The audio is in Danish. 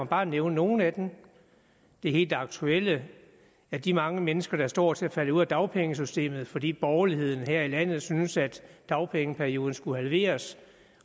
bare nævne nogle af dem det helt aktuelle er de mange mennesker der står til at falde ud af dagpengesystemet fordi borgerligheden her i landet synes at dagpengeperioden skulle halveres